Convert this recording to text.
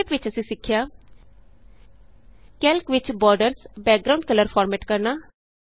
ਸੰਖੇਪ ਵਿਚ ਅਸੀਂ ਸਿੱਖਿਆ160 ਕੈਲਕ ਵਿਚ ਬੋਰਡਰਸ ਬੈਕਗਰਾਂਉਂਡ ਕਲਰ ਫਾਰਮੈਟ ਕਰਨਾ